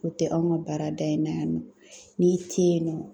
O tɛ anw ka baarada in na yan nɔ , n'i tɛ yen nɔ.